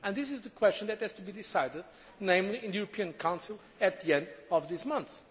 This is the question which has to be decided in the European Council at the end of this month.